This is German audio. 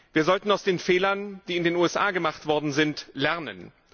Wir sollten aus den Fehlern, die in den USA gemacht worden sind, lernen.